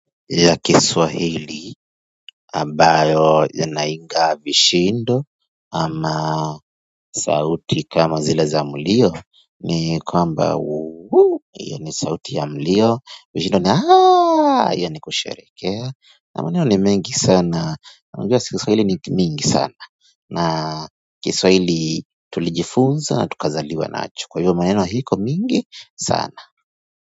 Ya kiswahili ambayo yanaiga vishindo ama sauti kama zile za mlio ni kwamba uuuu hiyo ni sauti ya mlio vishindo ni aaaa hiyo ni kusherehekea na maneno ni mingi sana na lugha kiswahili ni mingi sana na kiswahili tulijifunza na tukazaliwa nacho kwa hivyo maneno iko mingi sana.